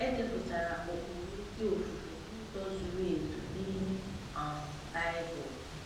E depụtara ụkpụrụ ezi ofufe n'ụzọ zuru ezu n'ime um Bible.